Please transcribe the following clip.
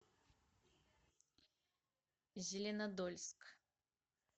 зеленодольск